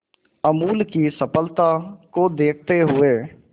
अमूल की सफलता को देखते हुए